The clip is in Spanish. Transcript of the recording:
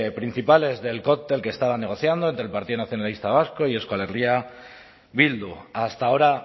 principales del cóctel que estaban negociando entre el partido nacionalista vasco y euskal herria bildu hasta ahora